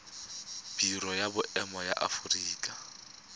biro ya boemo ya aforika